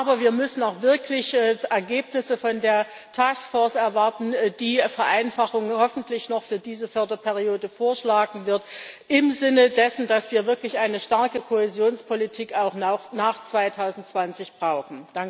Aber wir müssen auch wirkliche Ergebnisse von der Task Force erwarten, die eine Vereinfachung hoffentlich noch für diese Förderperiode vorschlagen wird, im Sinne dessen, dass wir wirklich eine starke Kohäsionspolitik auch nach 2020 brauchen.